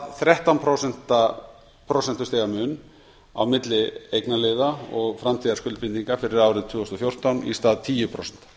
þrettán prósent mun á milli eignarliða og framtíðarskuldbindinga fyrir árið tvö þúsund og fjórtán í stað tíu prósent